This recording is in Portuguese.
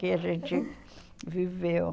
Que a gente viveu.